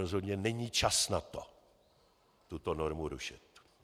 Rozhodně není čas na to tuto normu rušit.